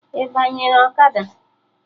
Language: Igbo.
Ị banyere ọkada?